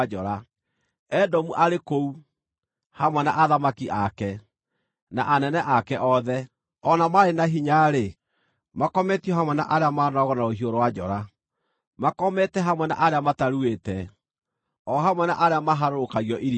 “Edomu arĩ kũu, hamwe na athamaki ake, na anene ake othe; o na maarĩ na hinya-rĩ, makometio hamwe na arĩa maanooragwo na rũhiũ rwa njora. Makomete hamwe na arĩa mataruĩte, o hamwe na arĩa maharũrũkagio irima.